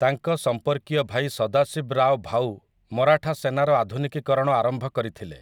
ତାଙ୍କ ସମ୍ପର୍କୀୟ ଭାଇ ସଦାଶିବରାଓ ଭାଉ ମରାଠା ସେନାର ଆଧୁନିକୀକରଣ ଆରମ୍ଭ କରିଥିଲେ ।